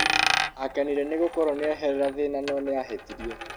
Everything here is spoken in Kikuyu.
Akenire nĩ gũkoro nĩeherera thĩna no nĩahĩtirie.